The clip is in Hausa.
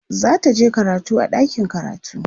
zataje karatu a ɗakin karatu